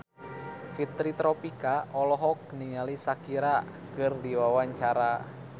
Fitri Tropika olohok ningali Shakira keur diwawancara